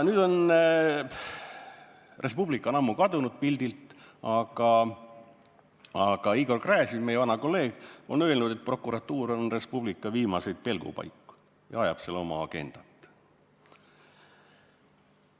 Nüüdseks on Res Publica ammu pildilt kadunud, aga, nagu meie vana kolleeg Igor Gräzin on öelnud, prokuratuur on Res Publica viimaseid pelgupaiku ja ajab seal oma agendat.